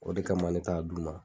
O de kama ne t'a d'u ma.